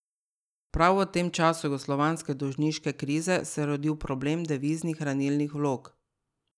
Prav v tem času jugoslovanske dolžniške krize se je rodil problem deviznih hranilnih vlog.